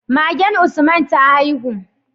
Magen Usman ta haihu